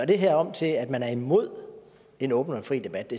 det her til at man er imod en åben og fri debat